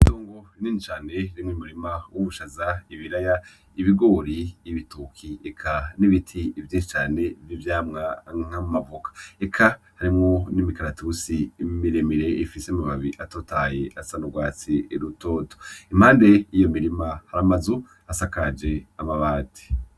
Itongo rinini cane ririmwo umurima w’ubushaza, ibiraya ,ibigori, ibitoke eka n’ibiti vyinshi cane vy’ivyamwa nk’amavoka, eka harimwo n’imikaratusi miremire ifise amababi atotahaye asa n’urwatsi rutoto, impande y’iyo mirima hari amazu asakaje amabati.